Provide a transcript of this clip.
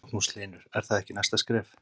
Magnús Hlynur: Er það ekki næsta skref?